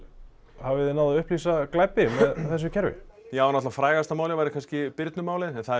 hafið þið náð að upplýsa glæpi með þessu kerfi já frægasta málið væri kannski Birnu málið en það